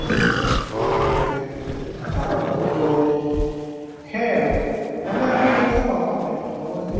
ok তৌ সেইয়াই পাৰু ন জবৰ্দস্থি